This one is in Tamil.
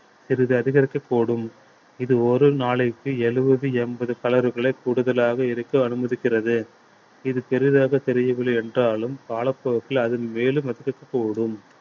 சிறிது அதிகரிக்கக்கூடும் இது ஒரு நாளைக்கு எழுபது எண்பது calorie களே கூடுதலாக இருக்க அனுமதிக்கிறது இது பெரிதாகத் தெரியவில்லை என்றாலும் காலப் போக்கில அது மேலும் அதிகரிக்க கூடும்